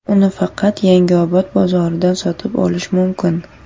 Uni faqat Yangiobod bozoridan sotib olish mumkin.